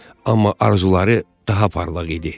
Amma arzuları daha parlaq idi.